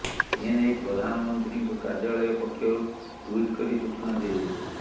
ଏ ନେଇ ପ୍ରଧାନମନ୍ତ୍ରୀଙ୍କ କାର୍ଯ୍ୟାଳୟ ପକ୍ଷରୁ ଟ୍ବିଟ୍ କରି ସୂଚନା ଦିଆଯାଇଛି